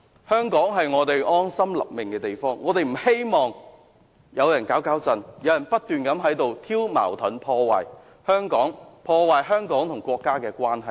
香港是我們安身立命的地方，我不希望有人"搞搞震"，不斷挑起矛盾，破壞香港與國家的關係。